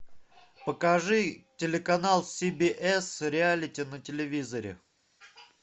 покажи телеканал си би эс реалити на телевизоре